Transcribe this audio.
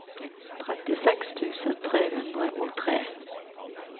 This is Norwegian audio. trettiseks tusen tre hundre og tre